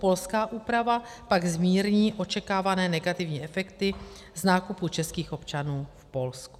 Polská úprava pak zmírní očekávané negativní efekty z nákupu českých občanů v Polsku.